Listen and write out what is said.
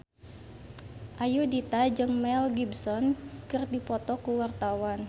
Ayudhita jeung Mel Gibson keur dipoto ku wartawan